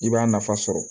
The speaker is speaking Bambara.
I b'a nafa sɔrɔ